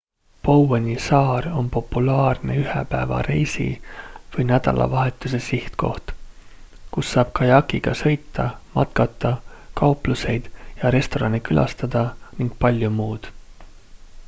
boweni saar on populaarne ühepäevareisi või nädalavahetuse sihtkoht kus saab kajakiga sõita matkata kaupluseid ja restorane külastada ning palju muud